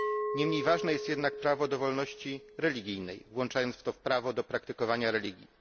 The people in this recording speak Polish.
Niemniej ważne jest jednak prawo do wolności religijnej, włączając w to prawo do praktykowania religii.